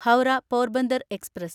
Howrah Porbandar express